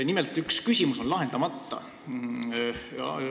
Nimelt, üks küsimus on lahendamata.